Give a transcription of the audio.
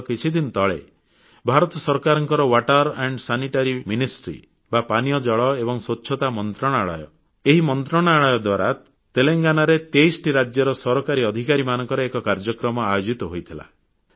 ଗତ କିଛିଦିନ ତଳେ ଭାରତ ସରକାରଙ୍କର ପାନୀୟ ଜଳ ଏବଂ ସ୍ୱଚ୍ଛତା ମନ୍ତ୍ରଣାଳୟ ଦ୍ୱାରା ତେଲଙ୍ଗାନାରେ 23ଟି ରାଜ୍ୟର ସରକାରୀ ଅଧିକାରୀମାନଙ୍କର ଏକ କାର୍ଯ୍ୟକ୍ରମ ଆୟୋଜିତ ହୋଇଥିଲା